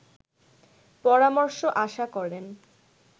পরামর্শ আশা করেন